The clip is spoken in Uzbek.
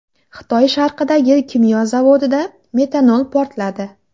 Xitoy sharqidagi kimyo zavodida metanol portladi.